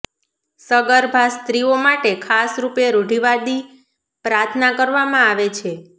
સગર્ભા સ્ત્રીઓ માટે ખાસ રૂપે રૂઢિવાદી પ્રાર્થના કરવામાં આવે છે